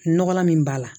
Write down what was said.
Nɔgɔlan min b'a la